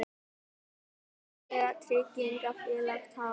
Alþjóðleg tryggingafélög tapa